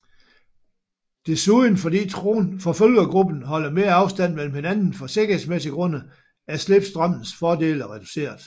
Desuden fordi forfølgergruppen holder mere afstand mellem hinanden for sikkerhedsmæssige grunde er slipstrømmens fordele reduceret